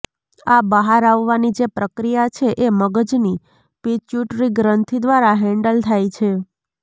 આ બહાર આવવાની જે પ્રક્રીયા છે એ મગજની પિચ્યુટરી ગ્રંથિ દ્વારા હૅન્ડલ થાય છે